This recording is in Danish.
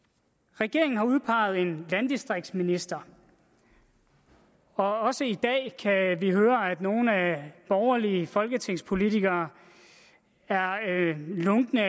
regeringen har udpeget en landdistriktsminister og også i dag kan vi høre at nogle borgerlige folketingspolitikere er lunkne